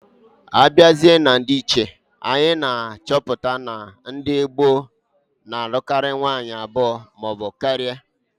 Abiazia na ndiiche, anyị ga achọpụ na ndi mgba gboo na anụkari nwanyị abụọ maọbu karia.